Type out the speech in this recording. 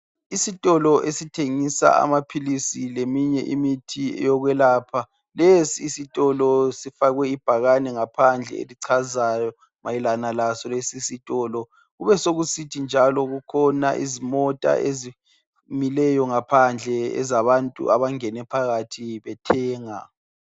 Isitolo esithengisa amaphilisi leminye imithi eyokwelapha. Lesi isitolo sifakwe ibhakane ngaphandle elichazayo mayelana laso lesi isitolo. Kubesokusithi njalo kukhona izimota ezimileyo ngaphandle ezabantu abangene phakathi bethenga.